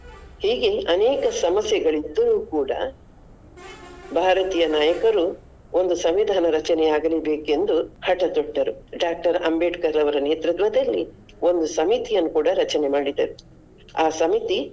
ಹೀಗೆ ಅನೇಕ ಸಮಸ್ಯೆಗಳಿದ್ದರು ಕೂಡ ಭಾರತೀಯ ನಾಯಕರು ಒಂದು ಸಂವಿಧಾನ ರಚನೆ ಆಗಲೇಬೇಕೆಂದು ಹಟತೊಟ್ಟರು. Doctor ಅಂಬೇಡ್ಕರ್ ರವರ ನೇತೃತ್ವದಲ್ಲಿ ಒಂದು ಸಮಿತಿಯನ್ನು ಕೂಡ ರಚನೆ ಮಾಡಿದರು ಆ ಸಮಿತಿ.